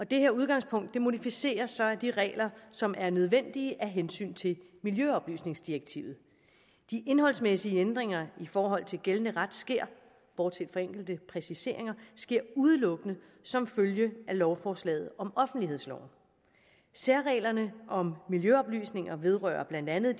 det her udgangspunkt modificeres så af de regler som er nødvendige af hensyn til miljøoplysningsdirektivet de indholdsmæssige ændringer i forhold til gældende ret sker bortset fra enkelte præciseringer udelukkende som følge af lovforslaget om offentlighedsloven særreglerne om miljøoplysninger vedrører blandt andet